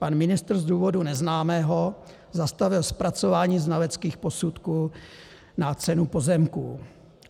Pan ministr z důvodu neznámého zastavil zpracování znaleckých posudků na cenu pozemků.